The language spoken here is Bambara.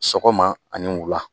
Sɔgɔma ani wula